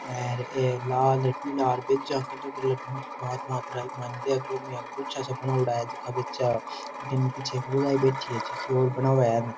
और ए लाल पीला बीचा का अलग अलग रंग का बड़ा बड़ा गुच्छा सा बनवाड़ा है काफी अच्छा किन पीछे लुगाई बैठी है --